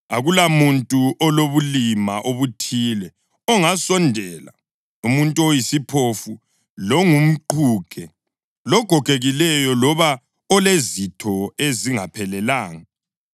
Akulamuntu olobulima obuthile ongasondela: umuntu oyisiphofu, longumqhuge, logogekileyo loba olezitho ezingaphelelanga;